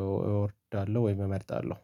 እወዳለሁ ወይም እመርጣለሁ